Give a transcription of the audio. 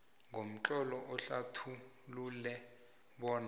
ngomtlolo uhlathulule bona